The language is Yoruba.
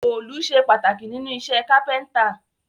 Òòlù sé pàtàkì nínú isẹ́ Kápẹ́ńtà